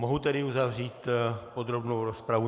Mohu tedy uzavřít podrobnou rozpravu?